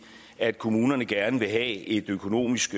at kommunerne gerne vil have et økonomisk